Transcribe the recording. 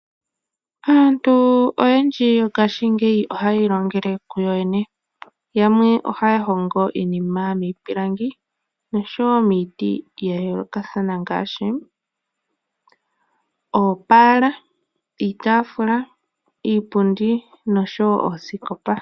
Aantu oyendji mongashingeyi ohaya illngele yoyene. Yamwe ohaya hongo iinima miipilangi osho wo miiti yayoolokathana ngaashi oopala, iipundi, iitafula nosho wo oosikopa.